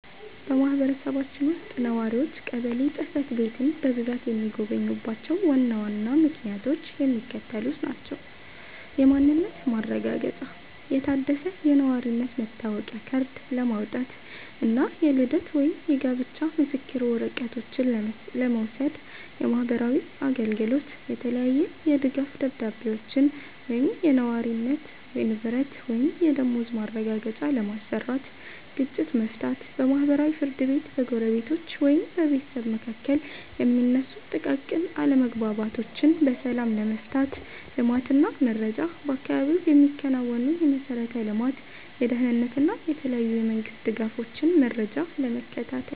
በማህበረሰባችን ውስጥ ነዋሪዎች ቀበሌ ጽሕፈት ቤትን በብዛት የሚጎበኙባቸው ዋና ዋና ምክንያቶች የሚከተሉት ናቸው፦ የማንነት ማረጋገጫ፦ የታደሰ የነዋሪነት መታወቂያ ካርድ ለማውጣት እና የልደት ወይም የጋብቻ ምስክር ወረቀቶችን ለመውሰድ። የማህበራዊ አገልግሎት፦ የተለያየ የድጋፍ ደብዳቤዎችን (የነዋሪነት፣ የንብረት ወይም የደመወዝ ማረጋገጫ) ለማሰራት። ግጭት መፍታት፦ በማህበራዊ ፍርድ ቤት በጎረቤቶች ወይም በቤተሰብ መካከል የሚነሱ ጥቃቅን አለመግባባቶችን በሰላም ለመፍታት። ልማት እና መረጃ፦ በአካባቢው የሚከናወኑ የመሠረተ ልማት፣ የደህንነት እና የተለያዩ የመንግስት ድጋፎችን መረጃ ለመከታተል።